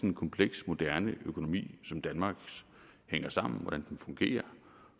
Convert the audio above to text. en kompleks moderne økonomi som danmarks hænger sammen hvordan den fungerer